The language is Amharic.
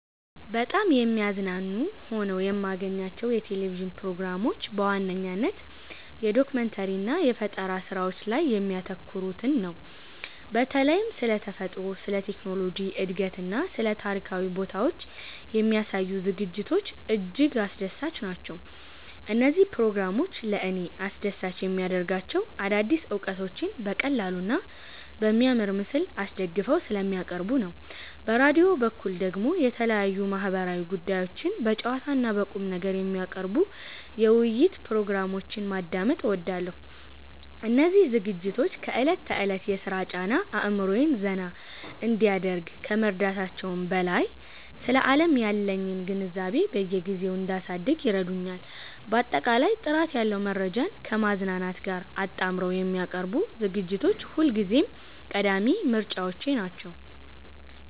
በጣም የሚያዝናኑ ሆነው የማገኛቸው የቴሌቪዥን ፕሮግራሞች በዋነኝነት የዶኩመንተሪ እና የፈጠራ ስራዎች ላይ የሚያተኩሩትን ነው። በተለይም ስለ ተፈጥሮ፣ ስለ ቴክኖሎጂ እድገትና ስለ ታሪካዊ ቦታዎች የሚያሳዩ ዝግጅቶች እጅግ አስደሳች ናቸው። እነዚህ ፕሮግራሞች ለእኔ አስደሳች የሚያደርጋቸው አዳዲስ እውቀቶችን በቀላሉና በሚያምር ምስል አስደግፈው ስለሚያቀርቡ ነው። በራዲዮ በኩል ደግሞ የተለያዩ ማህበራዊ ጉዳዮችን በጨዋታና በቁምነገር የሚያቀርቡ የውይይት ፕሮግራሞችን ማዳመጥ እወዳለሁ። እነዚህ ዝግጅቶች ከዕለት ተዕለት የሥራ ጫና አእምሮዬን ዘና እንዲያደርግ ከመርዳታቸውም በላይ፣ ስለ ዓለም ያለኝን ግንዛቤ በየጊዜው እንዳሳድግ ይረዱኛል። ባጠቃላይ ጥራት ያለው መረጃን ከማዝናናት ጋር አጣምረው የሚያቀርቡ ዝግጅቶች ሁልጊዜም ቀዳሚ ምርጫዎቼ ናቸው።